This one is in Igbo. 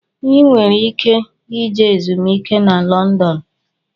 ị nwere ike ije ezumiike na London.